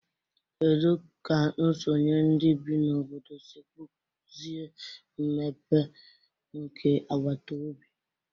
Kedu ka nsonye ndị bi n'obodo si kpụzie mmepe nke agbataobi?